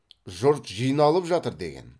жұрт жиналып жатыр деген